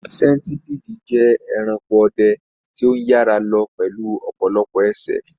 Sentipidi jẹ́ ẹranko ọdẹ tí ó ń yára lọ pẹ̀lú ọ̀pọ̀lọpọ̀ ẹsẹ̀.